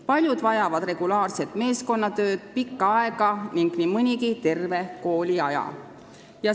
Paljud vajavad regulaarset meeskonnatööd pikka aega ning nii mõnigi terve kooliaja.